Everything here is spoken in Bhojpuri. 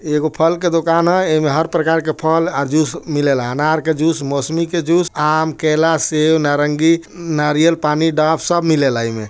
एगो फल की दुकान है| ये मे हर एक प्रकार की फल और जूस मिलला है अनार के जूस मोसमी के जूस आम केला सेब नारंगी नारियल पानी ढाब सब मिलेला इमे|